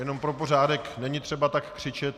Jenom pro pořádek, není třeba tak křičet.